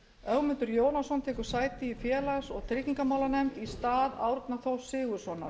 ögmundur jónasson tekur sæti í félags og tryggingamálanefnd í stað árna þórs sigurðssonar